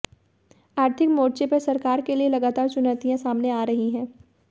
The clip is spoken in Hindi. आर्थिक मोर्चे पर सरकार के लिए लगातार चुनौतियां सामने आ रही हैं